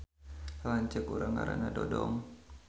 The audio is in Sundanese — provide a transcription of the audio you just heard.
Lanceuk urang ngaranna Dodong